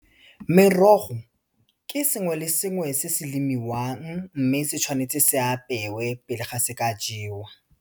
Merogo ke sengwe le sengwe se se lemiwang, mme se tshwanetse se apewe pele ga se ka jewa.